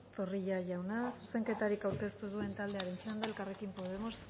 zorrilla jauna zuzenketarik aurkeztu ez duen taldearen txanda elkarrekin podemos